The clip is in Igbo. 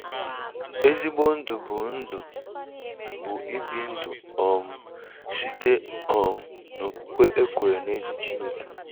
Ezigbo Ndụ bụ Ndụ bụ ibi ndụ um site um n'okwukwe e kwere n'ezi Chineke